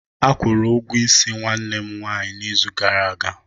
Akwuru ugwo isi nwanne m nwanyị n'izu gara aga.